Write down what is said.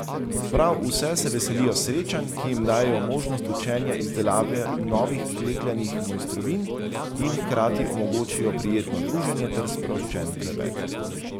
Prav vse se veselijo srečanj, ki jim dajejo možnost učenja izdelave novih klekljanih mojstrovin in hkrati omogočijo prijetno druženje ter sproščen klepet.